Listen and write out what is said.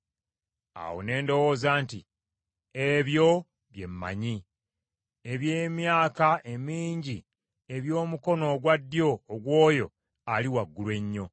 Awo ne ndowooza nti, “Ebyo bye mmanyi eby’emyaka emingi eby’omukono ogwa ddyo ogw’oyo Ali Waggulu Ennyo.”